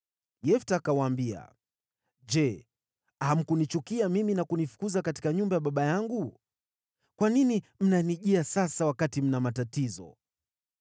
Yefta akawaambia, “Je, hamkunichukia mimi na kunifukuza katika nyumba ya baba yangu? Kwa nini mnanijia sasa, wakati mna matatizo.”